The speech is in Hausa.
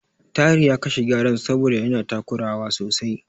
Tahir ya kashe Gyaren saboda yana takurawa sosai.